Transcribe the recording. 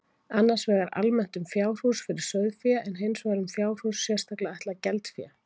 Annars vegar almennt um fjárhús fyrir sauðfé en hins vegar um fjárhús sérstaklega ætlað geldfé.